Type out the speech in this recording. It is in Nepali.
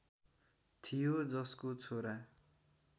थियो जसको छोरा